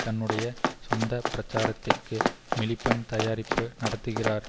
தன்னுடைய சொந்த பிரச்சாரத்திற்கு மிலிபண்ட் தயாரிப்பு நடத்துகிறார்